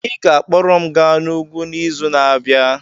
Ị ga-akpọrọ m gaa n'ugwu n'izu na-abịa.